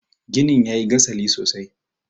ginin ya yi gasali sosai